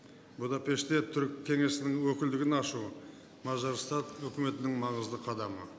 будапештте түрік кеңесінің өкілдігін ашу мажарстан өкіметінің маңызды қадамы